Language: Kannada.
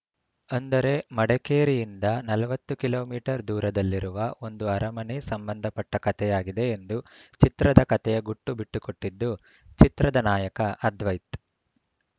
ಅಂದರೆ ಮಡಕೇರಿಯಿಂದ ನಲವತ್ತು ಕಿಲೋ ಮೀಟರ್ ದೂರದಲ್ಲಿರುವ ಒಂದು ಅರಮನೆ ಸಂಬಂದಪಟ್ಟಕತೆಯಾಗಿದೆ ಎಂದು ಚಿತ್ರದ ಕತೆಯ ಗುಟ್ಟು ಬಿಟ್ಟುಕೊಟ್ಟಿದ್ದು ಚಿತ್ರದ ನಾಯಕ ಅದ್ವೈತ್‌